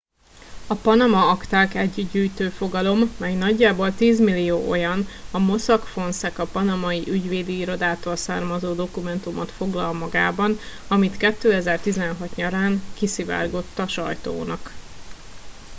a panama akták egy gyűjtőfogalom mely nagyjából tízmillió olyan a mossack fonseca panamai ügyvédi irodától származó dokumentumot foglal magában ami 2016 nyarán kiszivárgott a sajtónak